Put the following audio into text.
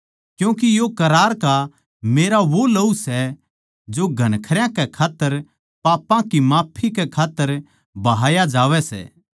क्यूँके यो करार का मेरा वो लहू सै जो घणखरयां कै खात्तर पापां की माफी कै खात्तर बहाया जावै सै